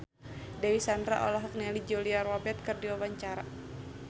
Dewi Sandra olohok ningali Julia Robert keur diwawancara